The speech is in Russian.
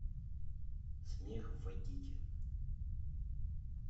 смех в вайкики